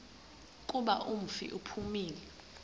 kuba umfi uphumile